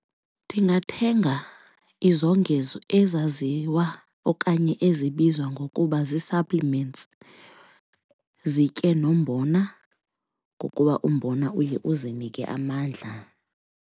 Ndingathenga izongezo ezaziwa okanye ezibizwa ngokuba zii-supplements, zitye nombona ngokuba umbona uye uzinike amandla.